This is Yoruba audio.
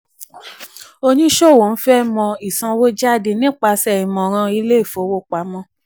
oníṣòwò ń fẹ mọ̀ ìsanwójáde nípasẹ̀ ìmọ̀ràn ilé ìfowopamọ́.